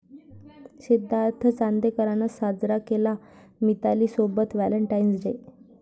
सिद्धार्थ चांदेकरनं साजरा केला मितालीसोबत व्हॅलेंटाइन्स डे!